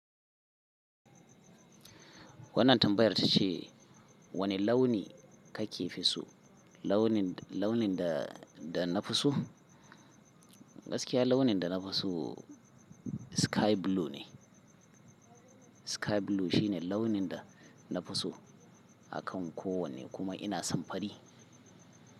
Wannan tambayar tace wane launi kake fi so, launin, launin da, da na fi so? Gaskiya launin da na fi so sky blue ne. Sky blue shine launin da na fi so akan kowane kuma ina son fari.